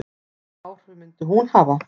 Hvaða áhrif myndi hún hafa?